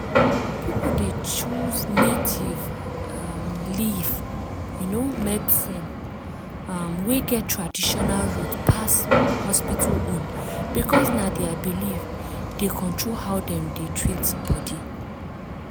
people dey choose native um leaf um medicine um wey get traditional root pass hospital own because na their belief dey control how dem dey treat body.